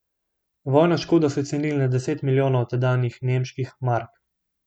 Vojno škodo so ocenili na deset milijonov tedanjih nemških mark.